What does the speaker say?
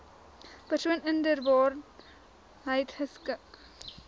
persoon inderwaarheid geskik